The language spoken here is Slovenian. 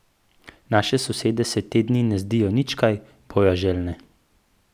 Naše sosede se te dni ne zdijo nič kaj bojaželjne.